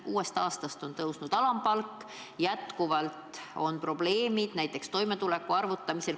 Uuest aastast on alampalk tõusnud, jätkuvalt on probleemid näiteks toimetuleku arvutamisel.